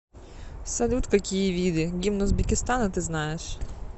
салют какие виды гимн узбекистана ты знаешь